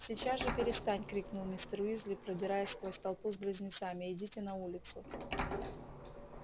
сейчас же перестань крикнул мистер уизли продираясь сквозь толпу с близнецами идите на улицу